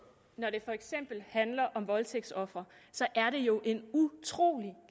når det for eksempel handler om voldtægtsofre er det jo en utrolig